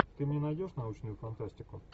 ты мне найдешь научную фантастику